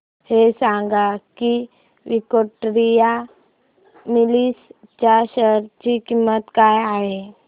हे सांगा की विक्टोरिया मिल्स च्या शेअर ची किंमत काय आहे